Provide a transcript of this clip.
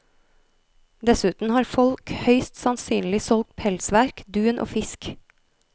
Dessuten har folk høyst sannsynlig solgt pelsverk, dun og fisk.